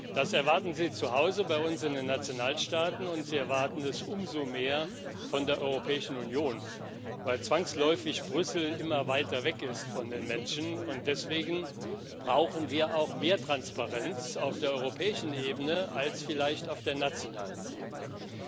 Das erwarten sie zu Hause bei uns in den Nationalstaaten, und sie erwarten es umso mehr von der Europäischen Union, weil Brüssel zwangsläufig immer weiter weg ist von den Menschen. Deswegen brauchen wir auch mehr Transparenz auf der europäischen Ebene als vielleicht auf der nationalen Ebene.